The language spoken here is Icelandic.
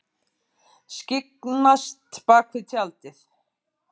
Skyggnst bakvið tjaldið